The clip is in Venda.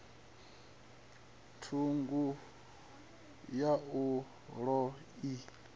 ṱhungu ya boḓelo a i